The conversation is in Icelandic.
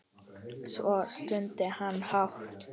Svo stundi hann hátt.